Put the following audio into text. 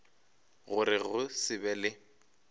gore go se be le